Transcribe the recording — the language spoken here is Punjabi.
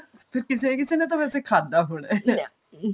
ਫੇਰ ਕਿਸੇ ਨਾ ਕਿਸੇ ਨੇ ਤਾਂ ਫਿਰ ਖਾਦਾ ਹੋਣਾ